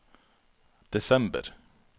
desember